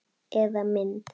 Eða mynd.